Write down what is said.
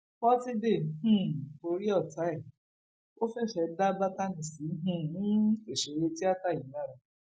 pọtidé um borí ọtá ẹ ò fẹsẹ dá bátànì sí um òṣèré tìata yìí lára